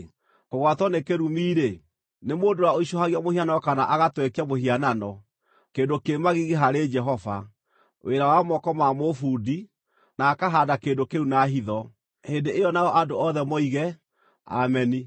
“Kũgwatwo nĩ kĩrumi-rĩ, nĩ mũndũ ũrĩa ũicũhagia mũhianano kana agatwekia mũhianano, kĩndũ kĩ magigi harĩ Jehova, wĩra wa moko ma mũbundi, na akahaanda kĩndũ kĩu na hitho.” Hĩndĩ ĩyo nao andũ othe moige, “Ameni!”